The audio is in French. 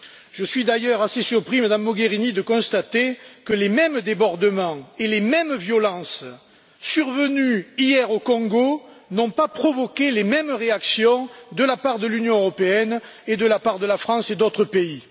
Je suis d'ailleurs assez surpris, Madame Mogherini, de constater que les mêmes débordements et les mêmes violences survenus hier au Congo n'ont pas provoqué les mêmes réactions de la part de l'Union européenne et de la part de la France et d'autres pays.